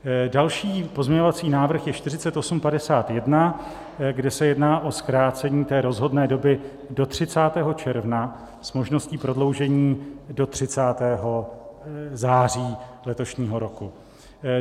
Další pozměňovací návrh je 4851, kde se jedná o zkrácení té rozhodné doby do 30. června s možností prodloužení do 30. září letošního roku.